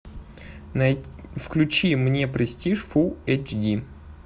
включи мне престиж фулл эйч ди